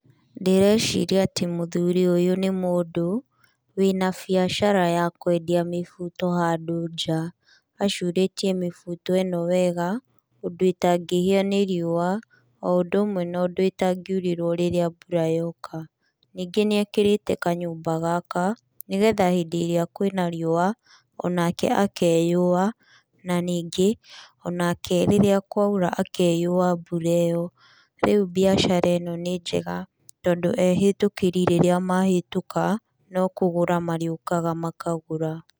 Ndĩreciria atĩ mũthuri ũyũ nĩ mũndũ, wĩna biacara ya kwendia mĩbuto handũ nja, acurĩtie mĩbuto ĩno wega, ũndũ itangĩhĩa nĩ riũa, o ũndũ ũmwe na ũndũ ĩtangiurĩrwo rĩrĩa mbura yoka. Nĩngĩ nĩekĩrĩte kanyũmba gaka, nĩgetha hĩndĩ ĩrĩa kwĩna riũa, onake akeyũwa, na ningĩ, onake rĩrĩa kwaura akeyũwa mbura ĩyo. Rĩu biacara ĩno nĩ njega, tondũ ehĩtũkĩri rĩrĩa mahĩtũka, nokũgũra marĩũkaga makagũra.